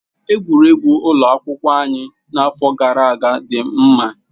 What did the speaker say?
Egwuregwu ụlọ akwụkwọ anyị n'afọ gara aga dị mma.